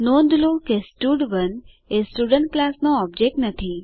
નોંધ લો કે સ્ટડ1 એ સ્ટુડન્ટ ક્લાસ નો ઓબજેક્ટ નથી